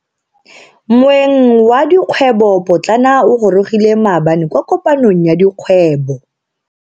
Moeng wa dikgwebo potlana o gorogile maabane kwa kopanong ya dikgwebo.